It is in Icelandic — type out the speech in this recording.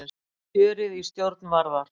Kjörið í stjórn Varðar